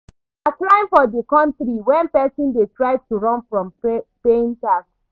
Na crime for di country when person dey try to run from paying tax